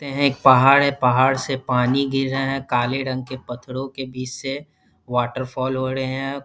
ते हैं एक पहाड़ है। पहाड़ से पानी गिर रहें हैं। काले रंग के पत्थरों के बीच से वाटरफॉल हो रहें हैं।